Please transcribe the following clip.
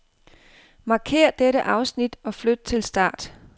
Markér dette afsnit og flyt til start.